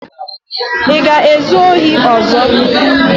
Ị ga-ezu ohi ọzọ?